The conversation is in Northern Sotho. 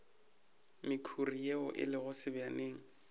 mekhuri ye e lego sebjaneng